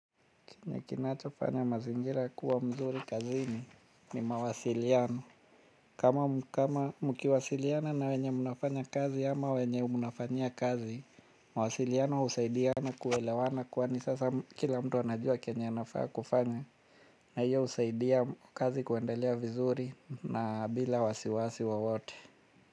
Kini kinachofanya mazingira kuwa mzuri kazini ni mawasiliano. Kama mkiwasiliana na wenye mnafanya kazi ama wenye mnafanyia kazi, mawasiliano husaidia na kuelewana kwani sasa kila mtu anajua kenye anafaa kufanya. Na hiyo husaidia kazi kuendelea vizuri na bila wasiwasi wowote.